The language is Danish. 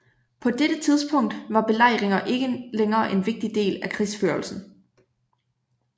På dette tidspunkt var belejringer ikke længere en vigtig del af krigsførelsen